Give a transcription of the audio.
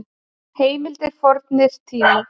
Heimildir Fornir tímar.